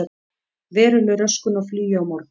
Veruleg röskun á flugi á morgun